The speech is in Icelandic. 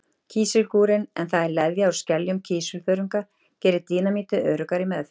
Kísilgúrinn, en það er leðja úr skeljum kísilþörunga, gerir dínamítið öruggara í meðförum.